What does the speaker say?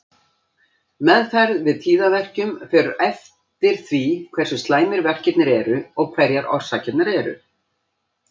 Meðferð við tíðaverkjum fer eftir því hversu slæmir verkirnir eru og hverjar orsakirnar eru.